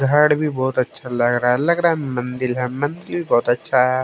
झाड़ भी बहुत अच्छा लग रहा है लग रहा मंदिर है मंदिर बहुत अच्छा है।